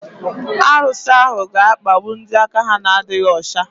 Arusi ahu ga-akpagbu ndị aka ha na-adịghị ọcha.